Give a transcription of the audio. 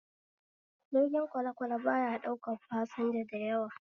Jirgin kwalekwale baya ɗaukan fasanja dayawa